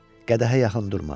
Qədəhə yaxın durma.